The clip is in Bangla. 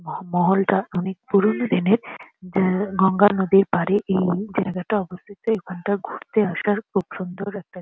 ম মহল টা অনেক পুরোনো দিনের যে গঙ্গা নদীর পারে এই জায়গাটা অবস্থিত। এইখানটা ঘুরতে আসার খুব সুন্দর একটা--